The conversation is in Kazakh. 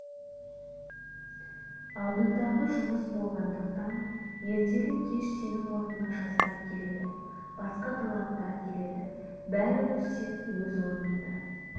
алдындағы жұмыс болғандықтан ертелі-кеш сенің орныңа жастар келеді басқа таланттар келеді бәрібір сен өз орныңды